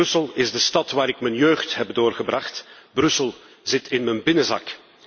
Brussel is de stad waar ik mijn jeugd heb doorgebracht, Brussel zit in mijn binnenzak.